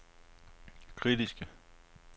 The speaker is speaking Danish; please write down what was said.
kritiske